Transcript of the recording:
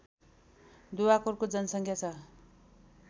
दुवाकोटको जनसङ्ख्या छ